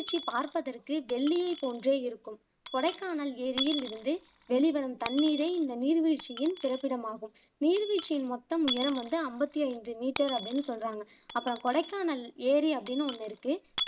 வீழ்ச்சி பார்ப்பதற்கு வெள்ளியை போன்றே இருக்கும் கொடைக்கானல் ஏரியில் இருந்து வேளிவரும் தண்ணீரே இந்த நீர் வீழ்ச்சியின் பிறப்பிடம் ஆகும் நீர்வீழ்ச்சியின் மொத்தம் உயரம் வந்து அம்பத்தி ஐந்து மீட்டர் அப்படின்னு சொல்லுறாங்க அப்பறம் கொடைக்கானல் ஏரி அப்படின்னு ஒன்னு இருக்கு